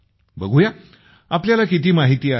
बघु या तुम्हाला किती माहिती आहे